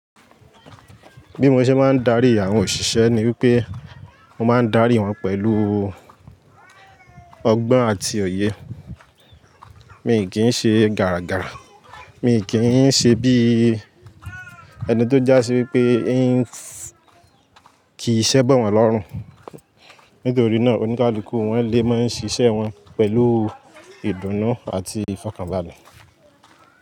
Bí mo ṣe máa ń darí àwọn òṣìṣẹ́ ni wípé mo máa ń darí wọn pẹ̀lú ọgbọ́n àti òye. Mi kì í ṣe gara gara, mi kì í n ṣe bí ẹni tó já sí wípé ń kì í ise bọ̀ wọ́n lọ́rùn. Nítorí náà oníkálukú wọ́n lè máa ń ṣiṣẹ́ wọ́n pẹ̀lú ìdùnnú àti ìfọ̀kànbalẹ̀.